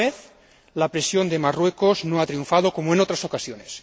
Por una vez la presión de Marruecos no ha triunfado como en otras ocasiones.